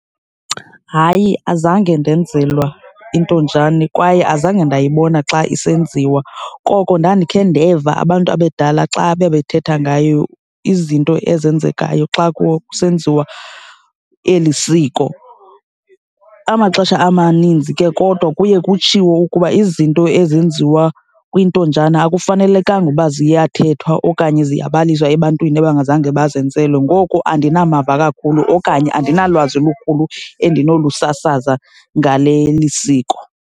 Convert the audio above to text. Hayi, azange ndenzelwa intonjane kwaye azange ndayibona xa isenziwa, koko ndandikhe ndeva abantu abadala xa bebethetha ngayo, izinto ezenzekayo xa kusenziwa eli siko. Amaxesha amaninzi ke kodwa kuye kutshiwo ukuba izinto ezenziwa kwintonjana akufanelekanga uba ziyathethwa okanye ziyabaliswa ebantwini abangazange bazenzelwe. Ngoku andinamava kakhulu okanye andinalwazi lukhulu endinolusasaza ngale lisiko.